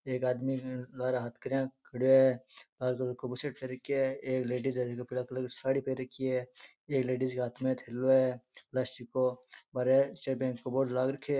एक आदमी है लारे हाथ करा खड़ियो है लाल कलर को बुसेट पेहेर रख्या है एक लेडिस है जीने पीला कलर का साडी पहर रखि है एक लेडिस के हाथ में थैलो है बाहरे स्टेट बैंक को बोर्ड लाग रखये है।